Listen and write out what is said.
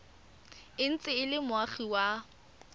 ntse e le moagi wa